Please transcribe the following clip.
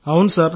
అవును సార్